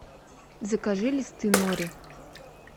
закажи листы нори